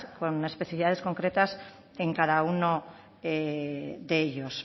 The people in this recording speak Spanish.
con especificidades concretas en cada uno de ellos